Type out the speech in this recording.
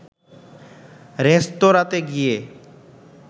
রেস্তোরাতে গিয়ে